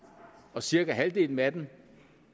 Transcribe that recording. og cirka halvdelen af dem